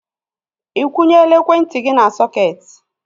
Ikwunyela ekwentị gị n'sọketi?